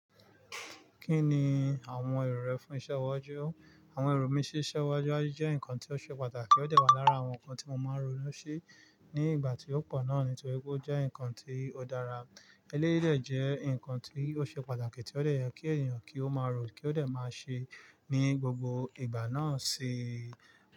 Kí ni àwọn èrò rẹ fún iṣẹ ọwọ́jọ́? Àwọn èrò mí sí iṣẹ́ ọwọ́jọ́jọ́ jẹ́ nǹkan tí ó ṣe pàtàkì ó dàgbà lára àwọn nǹkan tí mo máa ń rònú sí ní ìgbà tí ó pọ̀ náà nítorí pé ó jẹ́ nǹkan tí ó dára. Elérìí dẹ̀ jẹ́ nǹkan tí ó ṣe pàtàkì tí ó lè yẹ kí ènìyàn kí ó máa rò kí ó dẹ̀ máa ṣe ní gbogbo ìgbà náà si.